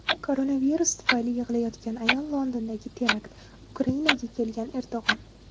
Koronavirus tufayli yig‘layotgan ayol, Londondagi terakt, Ukrainaga kelgan Erdo‘g‘on.